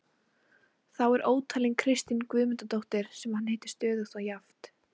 Þá er ótalin Kristín Guðmundardóttir sem hann hittir stöðugt og jafnt.